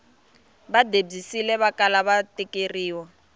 va debyisile vakala va tekeriwa